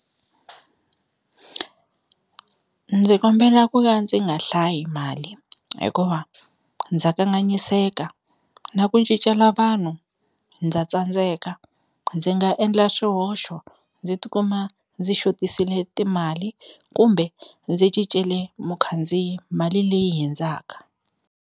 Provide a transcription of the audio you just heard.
Ndzi kombela ku ya ndzi nga hlayi mali hikuva ndza kanganyiseka na ku cincela vanhu ndza tsandzeka, ndzi nga endla swihoxo ndzi tikuma ndzi xotisile timali kumbe ndzi cincile mukhandziyi mali leyi hundzaka.